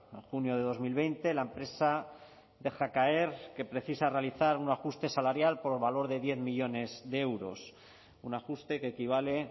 en junio de dos mil veinte la empresa deja caer que precisa realizar un ajuste salarial por valor de diez millónes de euros un ajuste que equivale